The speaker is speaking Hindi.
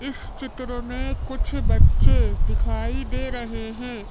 इस चित्र में कुछ बच्चे दिखाइ दे रहे है।